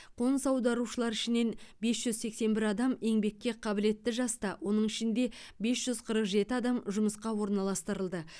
қоныс аударушылар ішінен бес жүз сексен бір адам еңбекке қабілетті жаста оның ішінде бес жүз қырық жеті адам жұмысқа орналастырылды